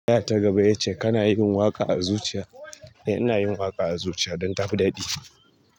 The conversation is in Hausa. Da ta gaba ya ce kana yin waƙa a zuciya, eh ina yin waƙa a zuciya don ta fi daɗi.